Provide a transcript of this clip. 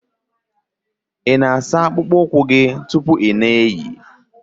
ị na-asa akpụkpọ ụkwụ gị tupu ị na-eyi?